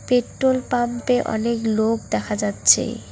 Petrol পাম্পে অনেক লোক দেখা যাচ্ছে।